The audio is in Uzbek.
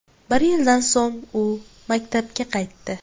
Bir yildan so‘ng u maktabga qaytdi .